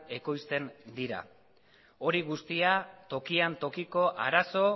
ekoizten dira hori guztia tokian tokiko arazo